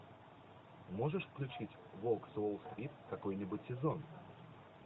можешь включить волк с уолл стрит какой нибудь сезон